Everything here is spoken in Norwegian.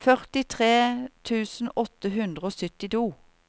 førtitre tusen åtte hundre og syttito